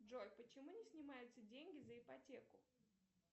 джой почему не снимаются деньги за ипотеку